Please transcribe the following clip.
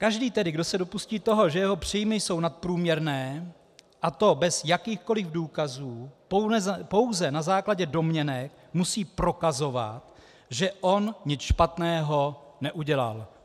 Každý tedy, kdo se dopustí toho, že jeho příjmy jsou nadprůměrné, a to bez jakýchkoli důkazů, pouze na základě domněnek, musí prokazovat, že on nic špatného neudělal.